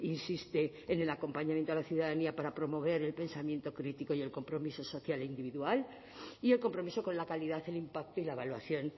insiste en el acompañamiento a la ciudadanía para promover el pensamiento crítico y el compromiso social e individual y el compromiso con la calidad el impacto y la evaluación